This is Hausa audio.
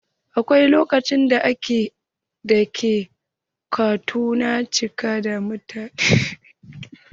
A wasu lokutan ɗakin kotu na cika da mutane.